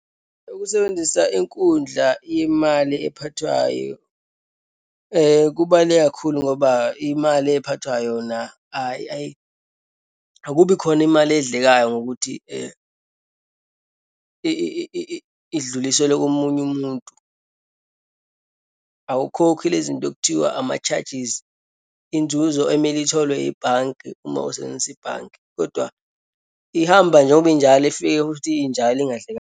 Ukusebenzisa inkundla yemali ephathwayo kubaluleke kakhulu ngoba imali ephathwa yona akubi khona imali edlekayo, ngokuthi idluliselwe komunye umuntu. Awukhokhi lezinto okuthiwa ama-charges, inzuzo emele itholwe ebhanki uma usebenzisa ibhanki. Kodwa ihamba njengoba injalo, ifike futhi injabulo ingadlekanga.